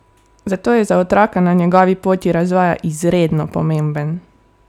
Zato je za otroka na njegovi poti razvoja izredno pomemben!